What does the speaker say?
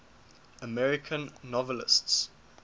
american novelists